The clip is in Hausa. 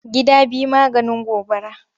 Gida biyu maganin gobara.